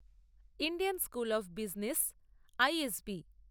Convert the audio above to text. Indian school of business ISSB